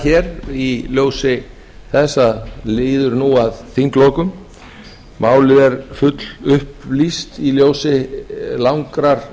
hér í ljósi þess að nú líður að þinglokum málið er fullupplýst í ljósi langrar